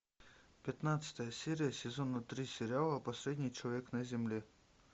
пятнадцатая серия сезона три сериала последний человек на земле